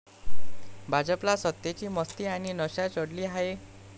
भाजपला सत्तेची मस्ती आणि नशा चढली आहे.